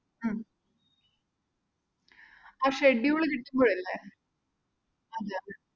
ഉം ആ schedule കിട്ടുമ്പോഴില്ലേ അതെ അതെ